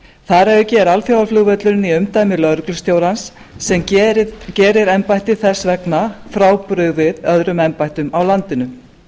þar að auki er alþjóðaflugvöllurinn í embætti lögreglustjórans sem gerir embættið þess vegna frábrugðið öðrum embættum á landinu